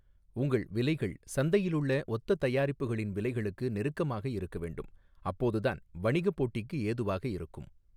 உங்கள் விலைகள் சந்தையிலுள்ள ஒத்த தயாரிப்புகளின் விலைகளுக்கு நெருக்கமாக இருக்கவேண்டும், அப்போதுதான் வணிகப் போட்டிக்கு ஏதுவாக இருக்கும்.